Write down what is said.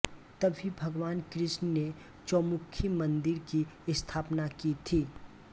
तभी भगवान कृष्ण ने चौमुखी मंदिर की स्थापना की थी